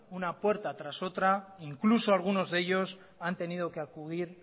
una puerta tras otra incluso algunos de ellos han tenido que acudir